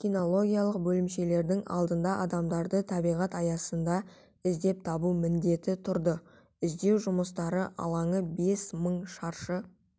кинологиялық бөлімшелердің алдында адамдарды табиғат аясында іздеп табу міндеті тұрды іздеу жұмыстары алаңы бес мың шаршы